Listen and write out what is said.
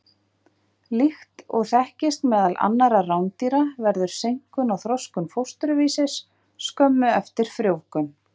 Líkt og þekkist meðal annarra rándýra verður seinkun á þroskun fósturvísis skömmu eftir frjóvgun.